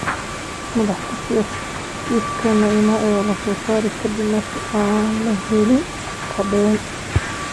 Madaxa kufsiga: Kiiska Neymar ayaa la saaray kadib markii aan la helin caddeyn.